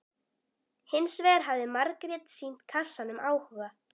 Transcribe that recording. Hins vegar hafði Margrét sýnt kassanum áhuga.